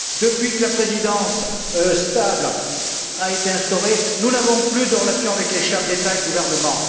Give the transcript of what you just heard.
Depuis que la Présidence stable a été instaurée, nous n'avons plus de relations avec les chefs d'État et de gouvernement.